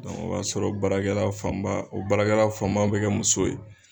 Dɔnku o b'a sɔrɔ o baarakɛra fanba o baarakɛra fanba bɛ kɛ muso ye